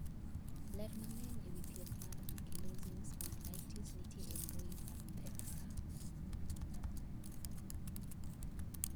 ler mang'eny ewi thieth mar Ankylosing spondylitis nitiere e mbui mar medsacpe